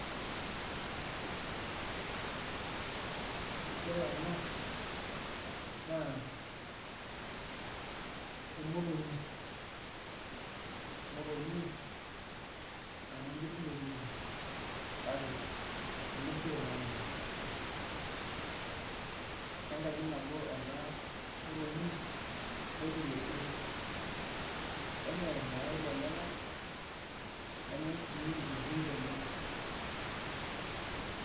Ore ena naa emotonyi emyonyi nanyanyukie sininye elukungu kake enosero naa ninye, ene ngaji nabo ena motonyi orkeresure kenyai irmayai lenyenak nenyai sii nkiri enyenak.